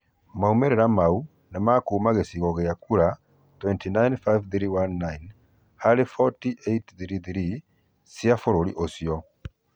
Maumĩrĩra maũ nĩmakũma cĩkĩrio cĩa kũra 295319 harĩ 40883 cĩa bũrũri ucĩo